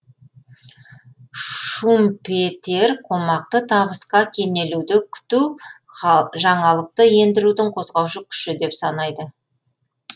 шумпетер қомақты табысқа кенелуді күту жаңалықты ендірудің қозғаушы күші деп санайды